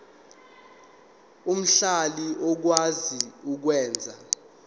omhlali okwazi ukwenza